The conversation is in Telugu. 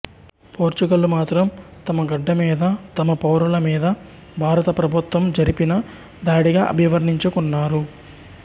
పోర్చుగల్ మాత్రం తమ గడ్డ మీద తమ పౌరుల మీద భారత ప్రభుత్వం జరిపిన దాడిగా అభివర్ణించుకున్నారు